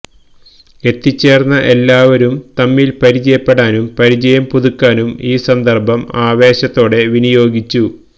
എത്തിച്ചേർന്ന എല്ലാവരും തമ്മിൽ പരിചയപ്പെടാനും പരിചയം പുതുക്കാനും ഈ സന്ദർഭം ആവേശത്തോടെ വിനിയോഗിച്ചു